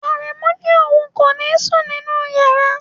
Aremu ni oun ko ni sun ninu yara